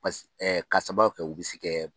Pasi k'a sababu kɛ u bɛ se kɛ